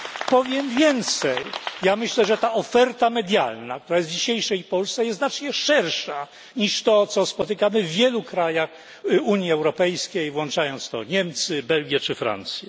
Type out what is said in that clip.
Powiem więcej myślę, że ta oferta medialna, która jest w dzisiejszej Polsce, jest znacznie szersza, niż to, co spotykamy w wielu krajach Unii Europejskiej, włączając w to Niemcy, Belgię czy Francję.